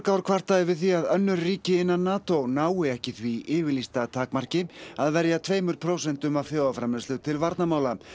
ár kvartað yfir því að önnur ríki innan NATO nái ekki því yfirlýsta takmarki að verja tveimur prósentum af þjóðarframleiðslu til varnarmála